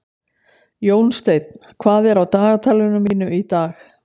Jónsteinn, hvað er á dagatalinu mínu í dag?